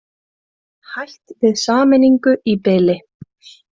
Hætt við sameiningu í bili